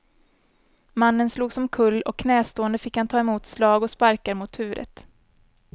Mannen slogs omkull och knästående fick han ta emot slag och sparkar mot huvudet.